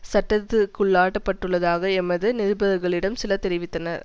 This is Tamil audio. சட்டத்திற்குள்ளாக்கப்பட்டுள்ளதாக எமது நிருபர்களிடம் சிலர் தெரிவித்தனர்